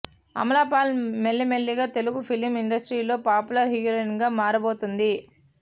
అమలా పాల్ మెల్లి మెల్లిగా తెలుగు ఫిలిం ఇండస్ట్రీలో పాపులర్ హీరొయిన్ గా మారబోతుంది